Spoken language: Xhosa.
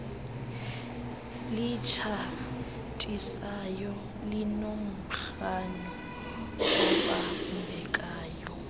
litshatisayo linomrhano obambekayo